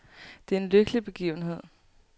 Det er en lykkelig begivenhed.